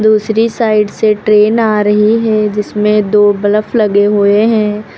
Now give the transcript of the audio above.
दूसरी साइड से ट्रेन आ रही है जिसमें दो बलफ लगे हुए हैं।